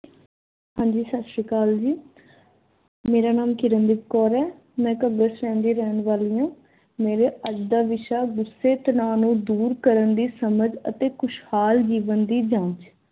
ਹਾਂਜੀ ਸੱਸਰੀਕਾਲ ਜੀ ਮੇਰਾ ਨਾਮ ਕਿਰਨਦੀਪ ਕੌਰ ਏ। ਮੈਂ ਘੱਗਰ ਸੇਨ ਦੀ ਰਹਿਣ ਵਾਲੀ ਆ। ਮੇਰਾ ਅੱਜ ਦਾ ਵਿਸ਼ਾ ਗੁਸੇ ਤਣਾਅ ਨੂੰ ਦੂਰ ਕਰਨ ਦੀ ਸਮਝ ਅਤੇ ਖੁਸ਼ਹਾਲ ਜੀਵਨ ਦੀ ਜਾਂਚ।